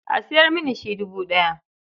A sayar mini shi dubu ɗaya.